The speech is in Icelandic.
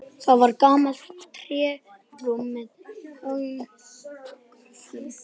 Það var gamalt trérúm með háum göflum.